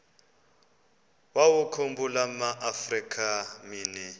wawakhumbul amaafrika mini